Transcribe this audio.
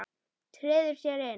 Treður sér inn.